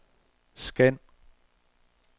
scan